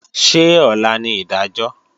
Ṣé ọ̀la ni ìdájọ́?